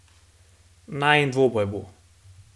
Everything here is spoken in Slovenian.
Najin dvoboj bo.